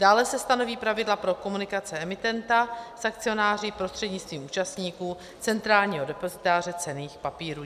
Dále se stanoví pravidla pro komunikace emitenta s akcionáři prostřednictvím účastníků centrálního depozitáře cenných papírů.